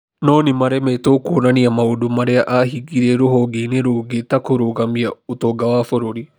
No nĩ maremetwo kuonania maũndũ marĩa aahingirie rũhonge-inĩ rũngĩ ta kũrũgamia ũtonga wa bũrũri.